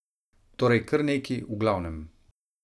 Torej krneki, v glavnem.